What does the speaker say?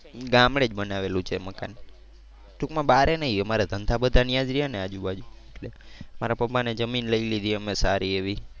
ગામડે જ બનાવેલું છે મકાન. ટુંકમાં જ બારે નહીં અમારે ધંધા બધા ત્યાં જ રહિયા ને આજુબાજુ. મારા પપ્પા ને જમીન લઈ લીધી અમે સારી એવી.